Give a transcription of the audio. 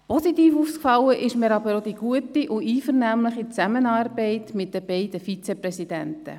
Positiv aufgefallen ist mir aber auch die gute und einvernehmliche Zusammenarbeit mit den beiden Vizepräsidenten.